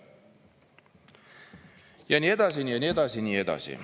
Ja nii edasi ja nii edasi ja nii edasi.